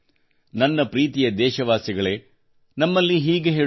ನನ್ನ ಪ್ರೀತಿಯ ದೇಶವಾಸಿಗಳೇ ನಮ್ಮಲ್ಲಿ ಹೀಗೆ ಹೇಳುತ್ತಾರೆ